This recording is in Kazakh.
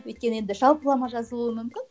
өйткені енді жалпылама жазылуы мүмкін